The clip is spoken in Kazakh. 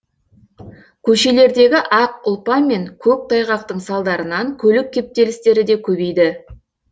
көшелердегі ақ ұлпа мен көктайғақтың салдарынан көлік кептелістері де көбейді